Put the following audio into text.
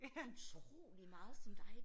Utrolig meget som dig